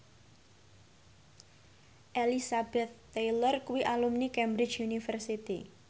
Elizabeth Taylor kuwi alumni Cambridge University